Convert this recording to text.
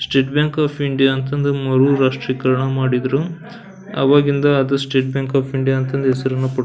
state bank of India ಅಂತ ಅಂದ್ರೆ ಮರು ರಾಷ್ಟ್ರೀಕರಣ ಮಾಡಿದ್ರು ಆವಾಗಿಂದ ಅದು ಸ್ಟೇಟ್ ಬ್ಯಾಂಕ್ ಓಫ್ ಇಂಡಿಯಾ ಅಂತ ಹೆಸರನ್ನ ಪಡ್ --